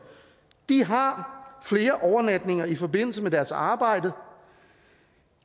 har flere overnatninger i forbindelse med deres arbejde